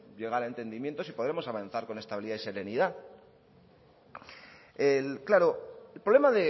llegar a entendimientos y podremos avanzar con estabilidad y serenidad claro el problema